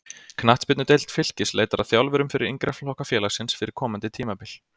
Knattspyrnudeild Fylkis leitar að þjálfurum fyrir yngri flokka félagsins fyrir komandi tímabil.